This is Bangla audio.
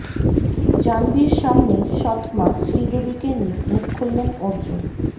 জাহ্নবীর সামনেই সৎ মা শ্রীদেবীকে নিয়ে মুখ খুললেন অর্জুন